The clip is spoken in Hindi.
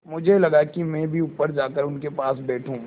मुझे लगा कि मैं भी ऊपर जाकर उनके पास बैठूँ